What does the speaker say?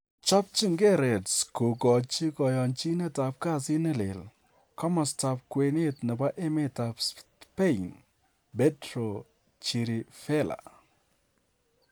Chopchinge Reds kogochi koyonchinet ab kasit ne lel komostab kwenet nebo emetab Spain Pedro Chirivella.